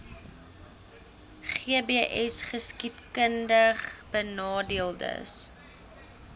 gbsgeskiedkundigbenadeeldes